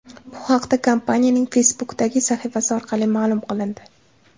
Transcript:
Bu haqda kompaniyaning Facebook’dagi sahifasi orqali ma’lum qilindi .